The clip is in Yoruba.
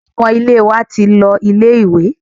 Ọmọ ilé wa ti lọ ilé ìwé.